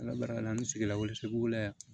Ala barika la an sigilaw sebo la yan